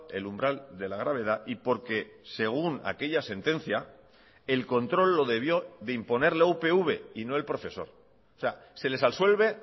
el umbral de la gravedad y porque según aquella sentencia el control lo debió de imponer la upv y no el profesor o sea se les absuelve